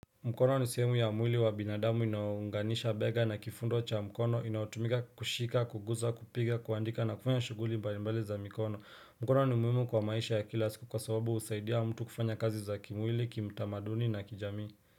Mkono ni sehemu ya mwili wa binadamu inayounganisha bega na kifundo cha mkono inaotumika kushika kuguza kupiga kuandika na kufanya shuguli mbalimbali za mikono mkono ni muhimu kwa maisha ya kila siku kwa sababu usaidia mtu kufanya kazi za kimwili kimtamaduni na kijamii.